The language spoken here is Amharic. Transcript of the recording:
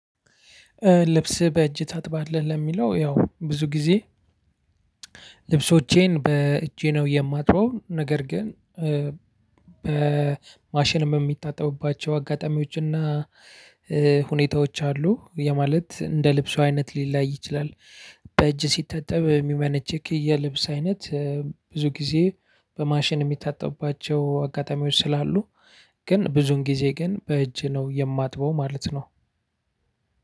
ልብስ በእጅ ታጥባለህ? ለሚለው ያው ብዙ ጊዜ ልብሶቼን በእጄ ነው የማጥረው። ነገር ግን በማሽን የሚታጠቡባቸው አጋጣሚዎች እና ሁኔታዎች አሉ። ያ ማለት፥ እንደ ልብሱ አይነት ሊለያይ ይችላል። በእጅ ሲታጠብ የሚመነችክ የልብስ አይነት ብዙ ጊዜ በማሽን የሚታጠቡባቸው አጋጣሚዎች ስላሉ ግን ብዙውን ጊዜ ግን በእጅ ነው የማጥበው ማለት ነው።